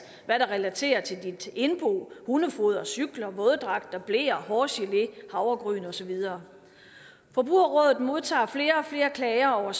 hvad der relaterer sig til dit indbo hundefoder cykler våddragter bleer hårgelé havregryn og så videre forbrugerrådet modtager flere og flere klager over